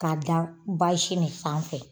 K'a da bazi nin sanfɛ.